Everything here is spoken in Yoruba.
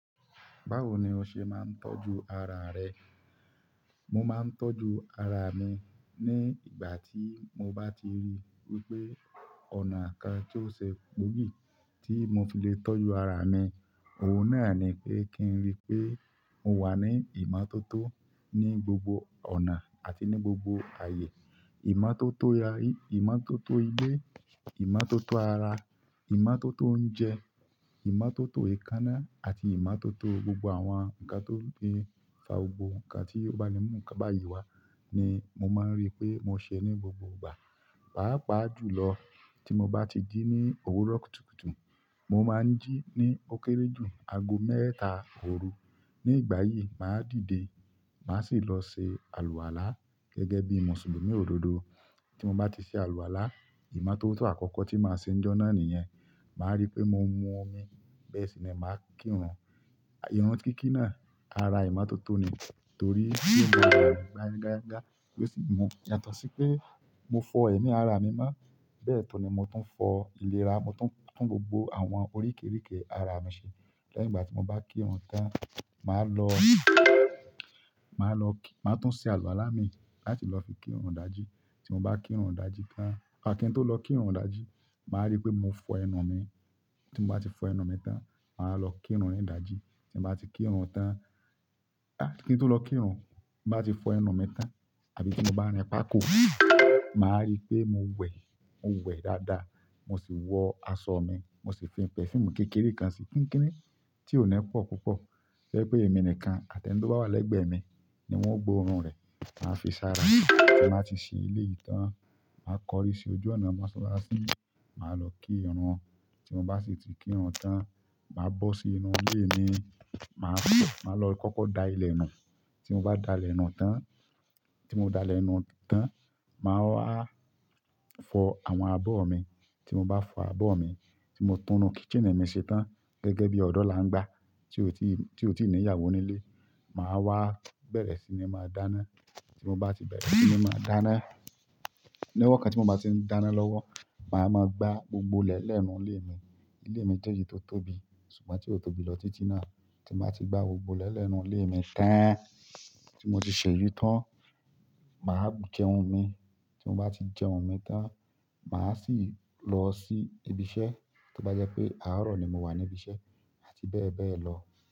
Báwo ni o ṣe máa ń tọ́jú ara rẹ? Mo máa ń tọ́jú ara mi ní ìgbà tí mo bá ti rí wípé ọ̀nà kan tó ṣe gboogi tí mo fi le tọ́jú ara mi, òun náà ni pé kí n rí i pé mo wà ní ìmọ́tótó ní gbogbo ọ̀nà àti ní gbogbo ààyè. Ìmọ́tótó ya, ìmọ́tótó ilé, ìmọ́tótó ara, ìmọ́tótó oúnjẹ, ìmọ́tótó ekánná àti ìmọ́tótó gbogbo àwọn nǹkan tó ń fa gbogbo nǹkan tí o ba le mu nǹkan bayi wa ni mo máa ń rí i pé mo ṣẹ ní gbogbo ìgbà. Pàápàá jùlọ tí mo bá ti jí ní òwúrọ̀ kùtùkùtù, mo máa ń jí ní ó kéré jù ago mẹ́ta òru. Ní ìgbà yìí, màá dìde, màá sì lọ ṣe àlùwàlá gẹ́gẹ́ bí Mùsùlùmí òdodo. Tí mo bá ti ṣe àlùwàlá, ìmọ́tótó àkọ́kọ́ tí màá ṣe níjọ́ náà nìyẹn. Ma ri pe mo mu omi, bẹ́ẹ̀ si ni ma kírun. Irun kíkí náà, ara ìmọ́tótó ni torí bí mo ń rí i dangaja, yàtọ̀ sí pé mo fọ ẹ̀mí ara mi mọ́. Bẹ́ẹ̀ tun ni mo tún fọ ìlera, mo tún gbogbo àwọn oríkìríkì ara mi ṣe. Lẹ́yìn ìgbà tí mo bá kírun tán, màá lọ, màá lọ kí-- màá tún ṣe àlùwàlá mii láti lọ fi kírun ìdajì. Tí mo bá kírun ìdajì tán, á kí n tó lọ kírun ìdajì, màá rí pé mo fọ ẹnu mi. Tí mo bá ti fọ ẹnu mi tán, màá lọ kírun ìdajì. Tí mo bá ti kírun tán, à kí n tó lọ kírun, ti mo bá ti fọ ẹnu mi tán àbí tí mo bá rìn páàkò, màá rí pé mo wẹ̀, mo wẹ̀ dáadáa, mo sì wọ aṣọ mi, mo sì fi perfum kékeré kan sí kíkíní tí ò ní pọ̀ púpọ̀. To jẹ́ pé èmi nìkan àti ẹnì tó bá wà lẹ́gbẹ̀ẹ́ mi ni wọ́n o gbó oorùn rẹ̀. Maa fi sára. Tí n ba ti ṣe eleyií tán, màá kọrí sí ojú ọ̀nà mọ́sálásí, màá lọ kírun. Tí mo bá sì ti kírun tán, màá bọ́ sí inú ilé mi, màá, màá lọ kọ́kọ́ da ilẹ̀ nù. Tí mo bá da ilẹ̀ nù tán, tí mo da ilẹ̀ nù tán, màá wá fọ àwọn abọ́ mi. Tí mo bá fọ abọ́ mi, tí mo tún inú kitchen mi ṣe tán gẹ́gẹ́ bí ọ̀dọ́ làngbá tí ò tí, tí ò tí ìní ìyàwó nílé, màá wá bẹ̀rẹ̀ sí ní máa dáná. Tí mo bá ti bẹ̀rẹ̀ sí ní máa dáná, lọ́wọ́ kan tí mo bá ti ń dáná lọ́wọ́, màá máa gbá gbogbo ilẹ̀ lẹ inú ilé mi. Ilé mi jẹ́ èyí tó tóbi ṣùgbọ́n tí ò tóbi lọ títí náà. Tí màá ti gbá gbogbo ilẹ̀ lẹ́ inú ilé mi tán, tí mo ti seyii tán, màá jẹun mi. Tí mo bá ti jẹun mi tán, màá sì lọ sí ibi iṣẹ́ tí ó bá jẹ́ pé àárọ̀ ni mo wà ní ibi iṣẹ́ àti bẹ́ẹ̀ bẹ́ẹ̀ lọ.